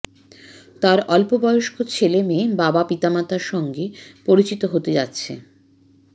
তার অল্প বয়স্ক ছেলেমেয়ে বাবা পিতামাতার সঙ্গে পরিচিত হতে যাচ্ছে